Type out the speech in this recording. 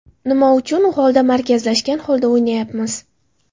Nima uchun u holda markazlashgan holda o‘ynayapmiz?